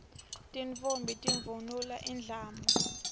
tintfombi tivunula indlamu